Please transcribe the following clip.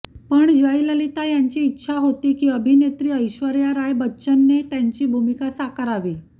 पण जयललिता यांची इच्छा होती की अभिनेत्री ऐश्वर्या राय बच्चनने त्यांची भूमिका साकारावी